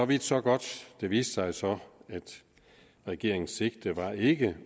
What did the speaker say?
vidt så godt det viste sig så at regeringens sigte ikke